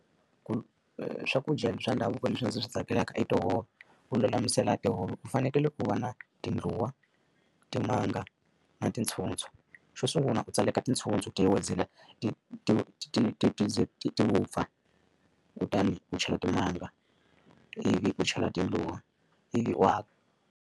Ku swakudya swa ndhavuko leswi ndzi swi tsakelaka i tihove. Ku lulamisela tihove u fanekele ku va na tindluwa, timanga, na tintshutshu. Xo sungula u tseleka tintshutshu ti ti ti ti ti ze ti vupfa, kutani u chela timanga, ivi ku chela tindluwa, ivi u .